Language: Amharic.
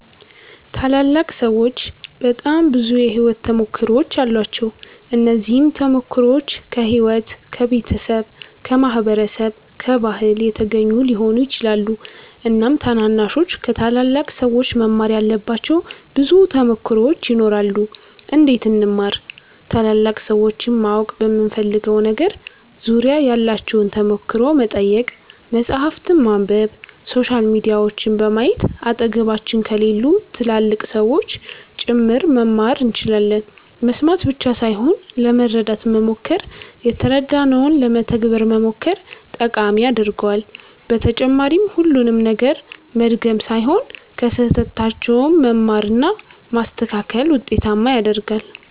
ታላላቅ ሠዎች በጣም ብዙ የሕይወት ተሞክሮዎች አሏቸው። እነዚህም ተሞክሮዎች ከሕይወት፣ ከቤተሰብ፣ ከማህበረሰብ፣ ከባህል የተገኙ ሊሆኑ ይችላሉ። እናም ታናናሾች ከታላላቅ ሠዎች መማር ያለባቸው ብዙ ተሞክሮዎች ይኖራሉ። እንዴት እንማር ?ታላላቅ ሠዎችን ማወቅ በምንፈልገው ነገር ዙሪያ ያላቸውን ተሞክሮ መጠየቅ፣ መፃህፍትን ማንበብ፣ ሶሻል ሚዲያዎችን በማየት አጠገባችን ከሌሉ ትላልቅ ሠዎችም ጭምር መማር እንችላለን መስማት ብቻ ሣይሆን ለመረዳት መሞከር የተረዳነውን ለመተግበር መሞከር ጠቃሚ ያደርገዋል በተጨማሪም ሁሉንም ነገር መድገም ሣይሆን ከሥህተታቸውም መማር እና ማስተካከል ውጤታማ ያደርጋል።